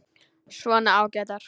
Svona ágætar.